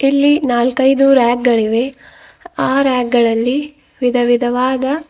ಇಲ್ಲಿ ನಾಲ್ಕೈದು ರ್ಯಾಕ್ ಗಳಿವೆ ಆ ರ್ಯಾಕ್ ಗಳಲ್ಲಿ ವಿಧವಿಧವಾದ --